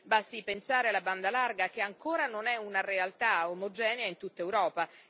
Basti pensare alla banda larga, che ancora non è una realtà omogenea in tutta Europa.